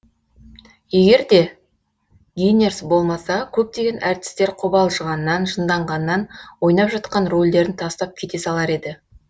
егер де гинерс болмаса көптеген әртістер қобалжығаннан жынданғаннан ойнап жатқан рөлдерін тастап кете салар еді